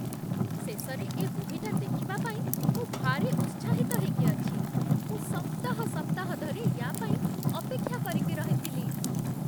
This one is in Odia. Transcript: ଶେଷରେ ଏ ମୁଭିଟା ଦେଖିବା ପାଇଁ ମୁଁ ଭାରି ଉତ୍ସାହିତ ହେଇକି ଅଛି! ମୁଁ ସପ୍ତାହ ସପ୍ତାହ ଧରି ୟା' ପାଇଁ ଅପେକ୍ଷା କରିକି ରହିଥିଲି ।